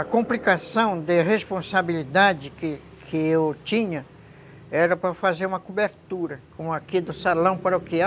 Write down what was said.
A complicação de responsabilidade que que eu tinha era para fazer uma cobertura com aqui do Salão Paroquial.